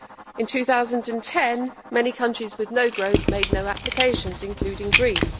In 2010 many countries with no growth made no applications including Greece.